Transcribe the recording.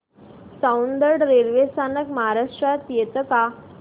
Soundad railway स्थानक महाराष्ट्रात येतं का